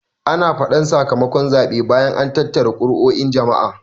Ana faɗan saka makon zaɓe bayan an tattara kuruo'in jama'a